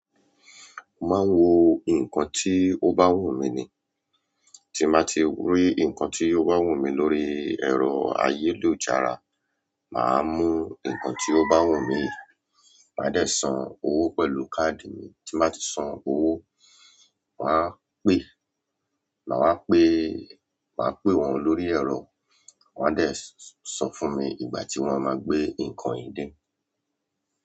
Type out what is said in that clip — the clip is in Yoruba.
Máa wo nǹkan tí ó bá wù mí ni. Tí màá ti rí nǹkan tí ó bá wù mí lórí ẹ̀rọ ayélujára, màá mú nǹkan tí ó bá wù mí, màá dé san owó pẹ̀lú káàdì mi, tí màá ti san owó, màá pè, màá pe. Màá pè wọ́n lórí ẹ̀rọ, wọ́n a dé so fún mi ìgbà tí wọ́n máa gbé nǹkan yìí dé.